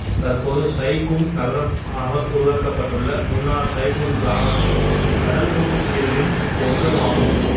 தற்போது Sai Kung நகரம் ஆக உருவாக்கப்பட்டுள்ள முன்னாள் சயி குங் கிராமம் கடலுணவுப் பிரியர்களின் சுவர்க்கமாகும்